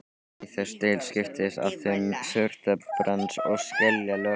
Í þessari deild skiptast á þunn surtarbrands- og skeljalög.